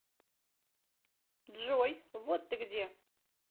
джой вот ты где